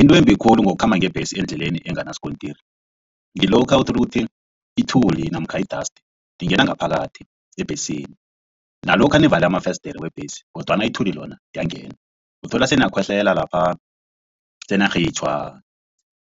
Into embi khulu ngokukhamba ngebhesi endleleni enganasikontiri ngilokha uthola ukuthi ithuli namkha i-dust ingena ngaphakathi ebhesini. Nalokha nivale amafesidiri webhesi kodwana ithuli lona liyangena, uthola seniyakhohlela lapha seniyarhitjhwa